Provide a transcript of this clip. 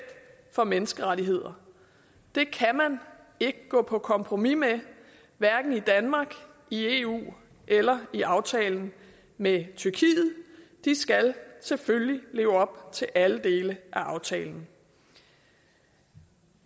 for menneskerettigheder det kan man ikke gå på kompromis med hverken i danmark i eu eller i aftalen med tyrkiet de skal selvfølgelig leve op til alle dele af aftalen